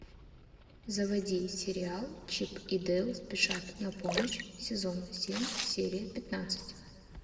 заводи сериал чип и дейл спешат на помощь сезон семь серия пятнадцать